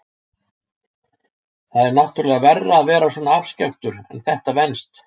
Það er náttúrlega verra að vera svona afskekktur en þetta venst.